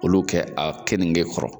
Olu kɛ a kenike kɔrɔ.